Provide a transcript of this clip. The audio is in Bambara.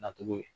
Nacogo ye